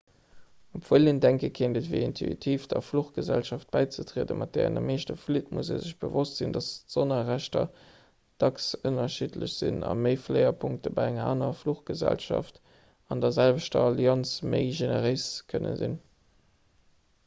obwuel een denke kéint et wier intuitiv der fluchgesellschaft bäizetrieden mat där een am meeschte flitt muss ee sech bewosst sinn datt d'sonnerrechter dacks ënnerschiddlech sinn a méifléierpunkte bei enger anerer fluchgesellschaft an der selwechter allianz méi generéis kënne sinn